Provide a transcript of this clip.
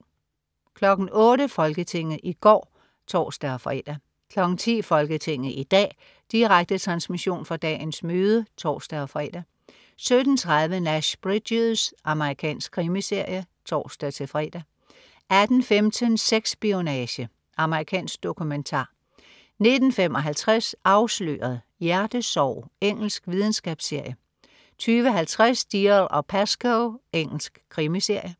08.00 Folketinget i går (tors-fre) 10.00 Folketinget i dag. Direkte transmission fra dagens møde (tors-fre) 17.30 Nash Bridges. Amerikansk krimiserie (tors-fre) 18.15 Sex-spionage. Amerikansk dokumentar 19.55 Afsløret: Hjertesorg. Engelsk videnskabsserie 20.50 Dalziel & Pascoe. Engelsk krimiserie